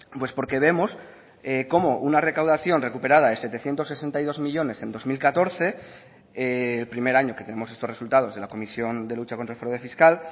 pues porque vemos cómo una recaudación recuperada de setecientos sesenta y dos millónes en dos mil catorce el primer año que tenemos estos resultados en la comisión de lucha contra el fraude fiscal